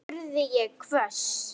spurði ég hvöss.